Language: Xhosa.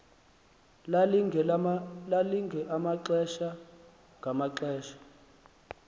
lalilinge amaxesha ngamaxesha